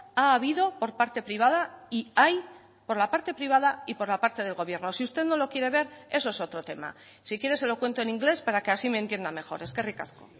ha habido por parte privada y hay por la parte privada y por la parte del gobierno si usted no lo quiere ver eso es otro tema si quiere se lo cuento en inglés para que así me entienda mejor eskerrik asko